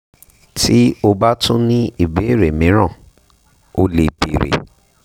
tí o bá tún ní ìbéèrè míràn o lè bèèrè